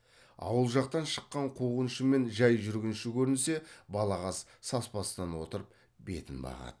ауыл жақтан шыққан қуғыншы мен жай жүргінші көрінсе балағаз саспастан отырып бетін бағады